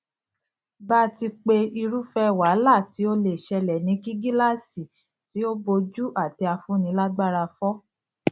bàti pé irúfẹ wàhálà tí ó lè ṣẹlẹ ni kí gíláàsì tí ó bojú àtẹafúnilágbára fọ